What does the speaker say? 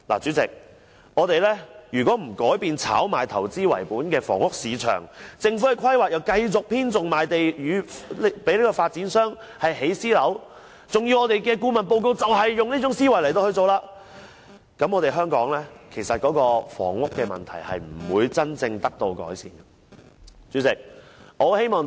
主席，如果我們不改變炒賣投資為本的房屋市場，政府的規劃亦繼續偏重賣地給發展商建設私人樓宇，而我們的顧問報告亦是採用這種思維，那麼香港的房屋問題是不會得到真正的改善。